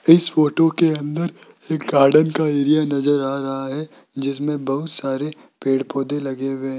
इस फोटो के अंदर एक गार्डन का एरिया नज़र आ रहा है जिसमें बहुत सारे पेड़ पौधे लगे हुए है।